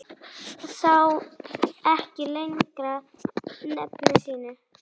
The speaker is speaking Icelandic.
Sá ekki lengra nefi sínu.